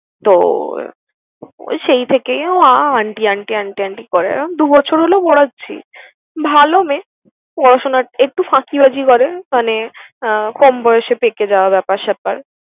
তো ওই সেই থেকেই ও আহ aunty aunty aunty aunty করে। দু বছর হল পড়াচ্ছি। ভালো মেয়ে, পড়াশোনায় একটু ফাঁকিবাজি করে মানে আহ কম বয়সে পেকে যাওয়া ব্যাপার-স্যাপার।